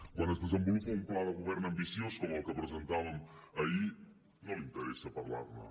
quan es desenvolupa un pla de govern ambiciós com el que presentàvem ahir no li interessa parlar ne